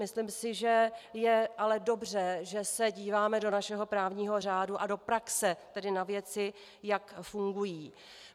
Myslím si, že je ale dobře, že se díváme do našeho právního řádu a do praxe, tedy na věci, jak fungují.